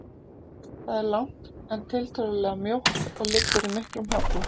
Það er langt, en tiltölulega mjótt og liggur í miklum halla.